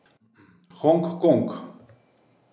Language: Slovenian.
Hong Kong.